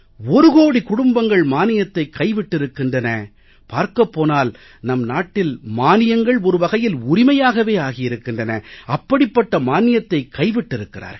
ஒரு கோடி குடும்பங்கள் மானியத்தைக் கைவிட்டிருக்கின்றன பார்க்கப் போனால் நம் நாட்டில் மானியங்கள் ஒரு வகையில் உரிமையாகவே ஆகியிருக்கின்றன அப்படிப்பட்ட மானியத்தைக் கைவிட்டிருக்கிறார்கள்